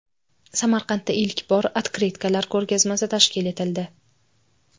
Samarqandda ilk bor otkritkalar ko‘rgazmasi tashkil etildi .